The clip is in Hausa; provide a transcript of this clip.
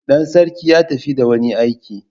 Dan sarki ya tafi da wani aiki.